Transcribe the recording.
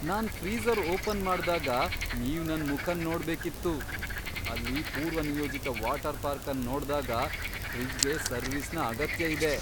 ನಾನ್ freezer open ಮಾಡ್ದಾಗ ನೀವ್ ನನ್ ಮುಖನ್ ನೋಡ್ಬೇಕಿತ್ತು. ಅಲ್ಲಿ ಪೂರ್ವನಿಯೋಜಿತ ವಾಟರ್ ಪಾರ್ಕ್ ಅನ್ ನೋಡ್ದಾಗ ಫ್ರಿಜ್ಗೆ ಸರ್ವೀಸ್ನ ಅಗತ್ಯ ಇದೆ.